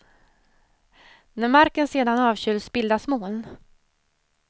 När marken sedan avkyls bildas moln.